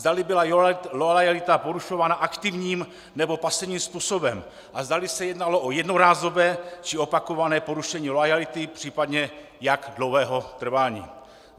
Zdali byla loajalita porušována aktivním, nebo pasivním způsobem a zdali se jednalo o jednorázové, či opakované porušení loajality, případně jak dlouhého trvání.